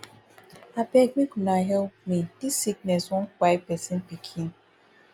abeg make una help me dis sickness wan kpai pesin pikin